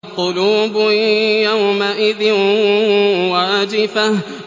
قُلُوبٌ يَوْمَئِذٍ وَاجِفَةٌ